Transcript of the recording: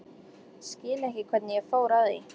Skil ekki hvernig ég fór að því.